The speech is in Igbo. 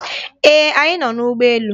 Ee, anyị nọ n'ụgbọ elu.